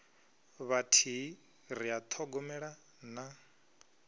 vhathihi ri a ṱhogomela na